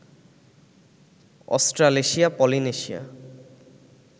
Australasia, Polynesia